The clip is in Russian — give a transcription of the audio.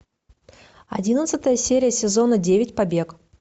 одиннадцатая серия сезона девять побег